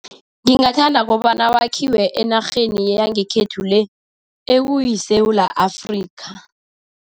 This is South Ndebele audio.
Ngingathanda kobana wakhiwe enarheni yangekhethu le, ekuyiSewula Afrika.